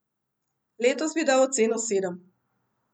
Letos bi dal oceno sedem.